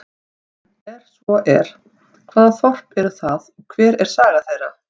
Er svo er, hvaða þorp eru það og hver er saga þeirra?